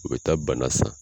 O bɛ taa bana san